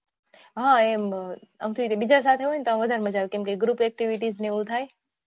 હા એમ બીજા સાથે હોય તો વધારે મજ્જા આવે કેમ કે group activity થાય.